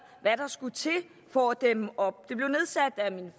hvad der skulle til for at dæmme op det blev nedsat af min